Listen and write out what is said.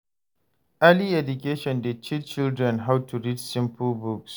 Early education dey teach children how to read simple books.